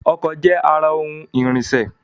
Ọkọ̀ je ara ohun ìrìnṣẹ̀